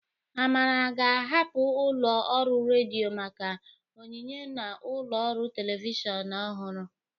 Amara ga-ahapụ ụlọ ọrụ redio maka onyinye na ụlọ ọrụ telivishọn ọhụrụ